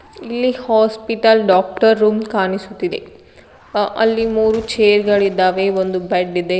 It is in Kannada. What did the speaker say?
ಇಲ್ಲಿ ಹಾಸ್ಪಿಟಲ್ ಡಾಕ್ಟರ್ ರೂಮ್ ಕಾಣಿಸುತ್ತಿದೆ ಅಲ್ಲಿ ಮೂರೂ ಚೇರ್ ಗಳಿದಾವೇ ಒಂದು ಬೆಡ್ ಇದೆ.